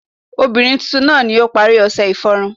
obirin titun naa ni o pari ọṣẹ iforun